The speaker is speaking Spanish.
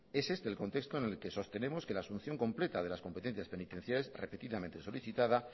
es este el contexto en el que sostenemos que la asunción completa de las competencias penitenciales repetidamente solicitada